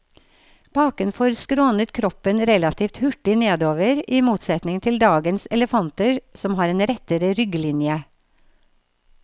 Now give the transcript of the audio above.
Bakenfor skrånet kroppen relativt hurtig nedover, i motsetning til dagens elefanter som har en rettere rygglinje.